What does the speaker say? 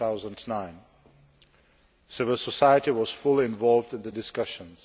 2009. Civil society was fully involved in the discussions.